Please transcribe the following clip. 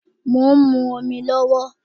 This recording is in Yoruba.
Mo ń mu omi lówó